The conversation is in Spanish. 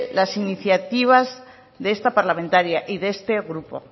las iniciativas de esta parlamentaria y de este grupo